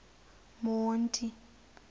monti